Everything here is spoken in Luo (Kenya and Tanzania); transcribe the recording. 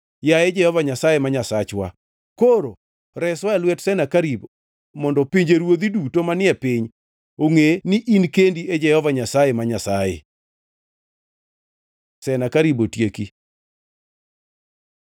Yaye Jehova Nyasaye, ma Nyasachwa, koro reswa e lwet Senakerib mondo pinjeruodhi duto manie piny ongʼe ni in kendi e Jehova Nyasaye, ma Nyasaye.” Senakerib otieki